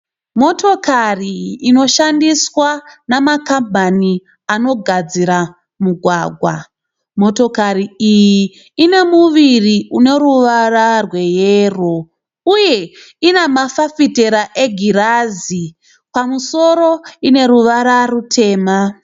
Motokari inoshandiswa namakambani anogadzira mugwagwa. Motokari iyi ine muviri uno ruvara rweyero uye ina mafafitera egirazi, pamusoro ine ruvara rutema.